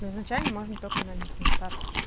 ну изначально можно только на них на старших